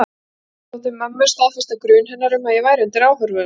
Þetta þótti mömmu staðfesta grun hennar um að ég væri undir áhrifum.